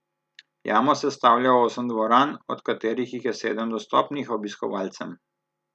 Jamo sestavlja osem dvoran, od katerih jih je sedem dostopnih obiskovalcem.